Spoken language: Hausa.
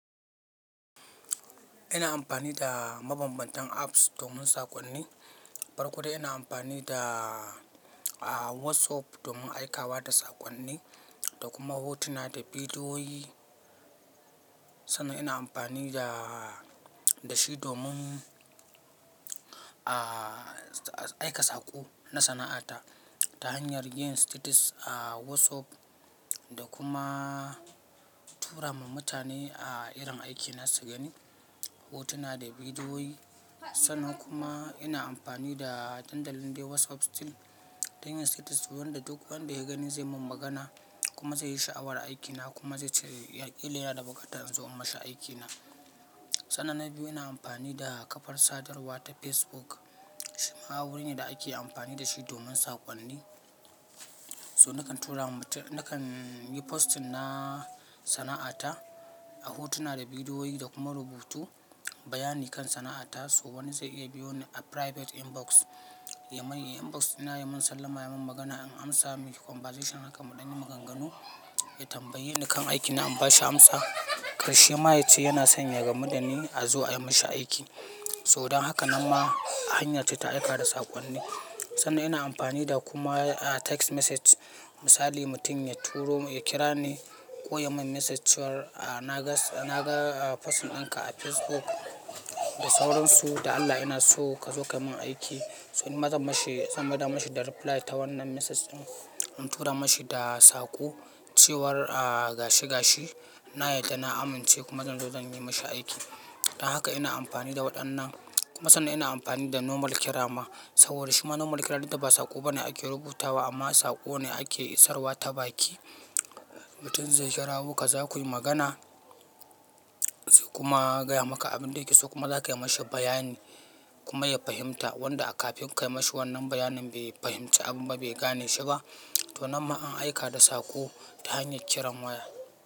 Ina amfani da mabambantan apps domin sakonni. Farko dai ina amfani da, ah, WhatsApp domin aika wa da sakonni da kuma hotuna da bidiyoyi. Sannan ina amfani da, da shi domin, a, aika saƙo na sana'ata ta hanyar yin status a WhatsApp da kuma tura ma mutane a irin aiki na su gani, hotuna da bidiyoyi. Sannan kuma ina amfani da dandalin dai WhatsApp still dan yin status wanda duk wanda ya gani sai mun magana kuma zai yi sha'awar aikina kuma zai ce, "Ya ƙila yana da buƙata in zo in mashi aikina." Sannan na biyu ina amfani da kafar sadarwa ta Facebook. Shima wuri ne da ake amfani da shi domin sakonni. So nakan tura ma- nakan yi posting na sana'ata a hotuna da bidiyoyi da kuma rubutu, bayani kan sana'ata. Sau wani zai iya biyo ni a private inbox ya mun inbox, ya mun sallama, ya mun magana, in amsa miki conversation haka, muɗan yi maganganu, ya tambaye ni kan aikina, in ba shi amsa. Karshe ma ya ce yana son ya gamuɗani a zo a yi mashi aiki. So dan haka nan ma hanya ce ta aika da sakonni. Sannan ina amfani da kuma, ah, text message. Misali mutum ya turo, ya kira ni ko ya mun message cewar, "Ah, na ga, na ga, ah, posting dinka a Facebook da sauransu, da Allah ina so ka zo ka mun aiki." So nima zan mashi, zan mai da mashi da reply ta wannan message din. In tura mashi da saƙo cewar, ah, gashi gashi, na yarda na amince kuma zan zo zan yi mashi aiki. Dan haka ina amfani da waɗannan. Kuma sannan ina amfani da normal kira ma saboda shima normal kira dinta ba saƙo bane ake rubutawa amma saƙo ne ake isarwa ta baki. Mutum zai kira wo ka zo kuyi magana, sai kuma ya gaya maka abin da yake so kuma za ka yi mashi bayani kuma ya fahimta wanda kafin ka yi mashi wannan bayanin bai fahimci abun ba, bai gane shi ba. To nama an aika da saƙo ta hanyar kiran waya.